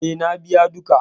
E, na biya duka.